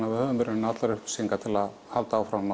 að við höfum í rauninni allar upplýsingar til að halda áfram